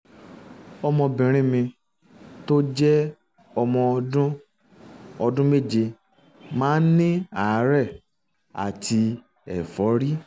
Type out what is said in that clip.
ọmọbìnrin mi um tó jẹ́ ọmọ ọdún ọdún méje um máa ń ní àárẹ̀ àti ẹ̀fọ́rí